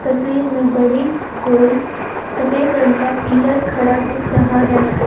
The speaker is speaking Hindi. तस्वीर में बड़ी गोल सफेद रंग का पिलर खड़ा दिख रहा है।